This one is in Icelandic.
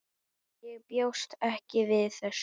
Ég bjóst ekki við þessu.